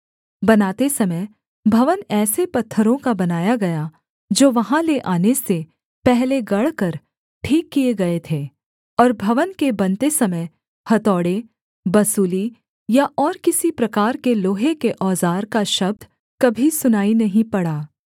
बनाते समय भवन ऐसे पत्थरों का बनाया गया जो वहाँ ले आने से पहले गढ़कर ठीक किए गए थे और भवन के बनते समय हथौड़े बसूली या और किसी प्रकार के लोहे के औज़ार का शब्द कभी सुनाई नहीं पड़ा